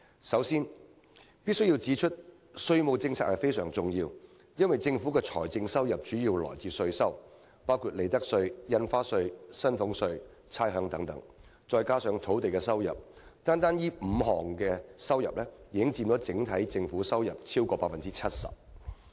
首先，我必須指出，稅務政策非常重要，因為政府財政收入主要來自稅收，包括利得稅、印花稅、薪俸稅和差餉等，再加上土地收入，單單這5項已經佔整體政府收入超過 70%。